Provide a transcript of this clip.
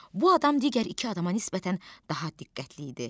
Bu adam digər iki adama nisbətən daha diqqətli idi.